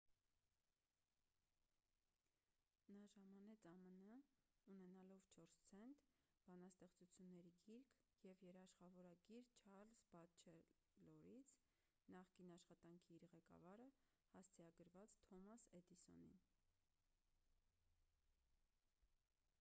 նա ժամանեց ամն՝ ունենալով 4 ցենտ բանաստեղծությունների գիրք և երաշխավորագիր չարլզ բատչելորից նախկին աշխատանքի իր ղեկավարը հասցեագրված թոմաս էդիսոնին: